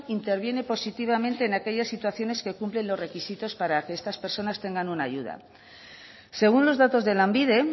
interviene positivamente en aquellas situaciones que cumplen los requisitos para que estas personas tengan una ayuda según los datos de lanbide